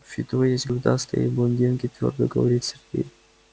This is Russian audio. в фидо есть грудастые блондинки твёрдо говорит сергей